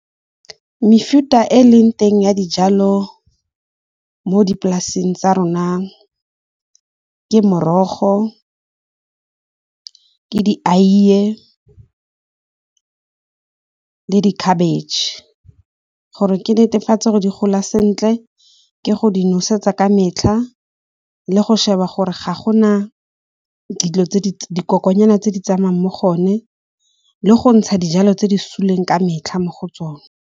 Mefuta e e leng teng ya dijalo mo dipolaseng tsa rona ke morogo, ke di eiye le di khabetšhe. Gore ke netefatse go di gola sentle ke go di nosetsa ka metlha le go sheba gore ga gona dikokonyana tse di tsamayang mo gone le go ntsha dijalo tse di suleng ka metlha mo go tsone.